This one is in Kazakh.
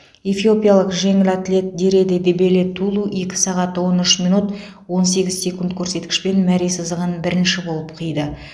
эфиопиялық жеңіл атлет дереде дебеле тулу екі сағат он үш минут ое сегіз секунд көрсеткішпен мәре сызығын бірінші болып қиды